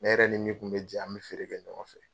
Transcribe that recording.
Ne yɛrɛ ni min kun bɛ jɛ an bɛ feere kɛ ɲɔgɔn fɛ.